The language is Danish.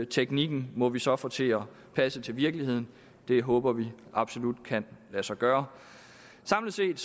teknikken må vi så få til at passe til virkeligheden det håber vi absolut kan lade sig gøre samlet set